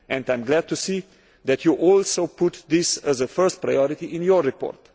I am glad to see that you also put these as a first priority in your report.